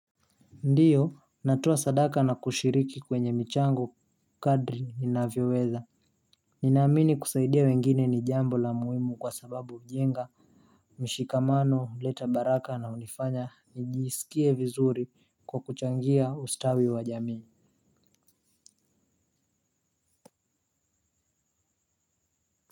Ndiyo natowa sadaka na kushiriki kwenye michango kadri ninavyo weza. Ninaamini kusaidia wengine nijambo la muhimu kwa sababu ujenga mshikamano leta baraka na unifanya nijisikie vizuri kwa kuchangia ustawi wa jamii.